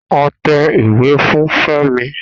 A tẹ ìwé fún Femi